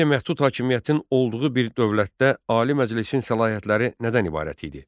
Qeyri-məhdud hakimiyyətin olduğu bir dövlətdə Ali Məclisin səlahiyyətləri nədən ibarət idi?